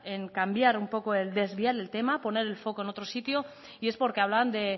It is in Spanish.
en cambiar un poco el en desviar el tema poner el foco en otro sitio y es porque hablan de